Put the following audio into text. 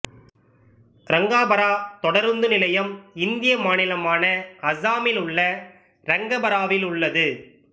ரங்காபரா தொடருந்து நிலையம் இந்திய மாநிலமான அசாமில் உள்ள ரங்காபராவிலுள்ளது